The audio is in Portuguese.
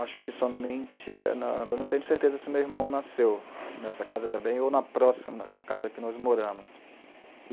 Acho que somente, agora não tenho certeza se meu irmão nasceu nessa casa também ou na próxima casa que nós moramos.